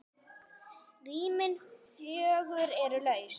Rýmin fjögur eru laus.